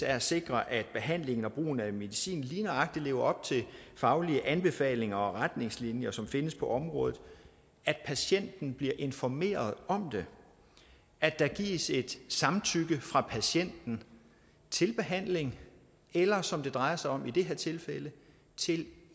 er at sikre at behandlingen og brugen af medicin lige nøjagtig lever op til faglige anbefalinger og retningslinjer som findes på området at patienten bliver informeret om det at der gives et samtykke fra patienten til behandling eller som det drejer sig om i det her tilfælde til